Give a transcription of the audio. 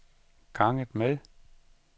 ganget med